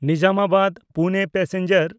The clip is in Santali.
ᱱᱤᱡᱟᱢᱟᱵᱟᱫ–ᱯᱩᱱᱮ ᱯᱮᱥᱮᱧᱡᱟᱨ